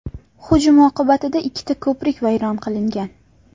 Hujum oqibatida ikkita ko‘prik vayron qilingan.